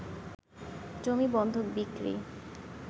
জমি বন্ধক, বিক্রি